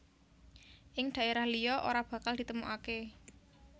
Ing daerah liya ora bakal ditemukake